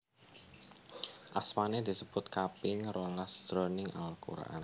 Asmané disebut kaping rolas jroning Al Quran